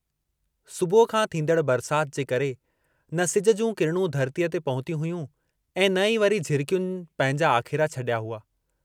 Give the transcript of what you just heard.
सुबुह खां थींदड़ बरसात जे करे न सिज जूं किरणूं धरतीअ ते पहुतुयूं हुयूं ऐं न ई वरी झिरकियुनि पंहिंजा आखेरा छड़िया हुआ।